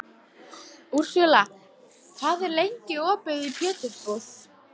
Úrsúla, hvað er lengi opið í Pétursbúð?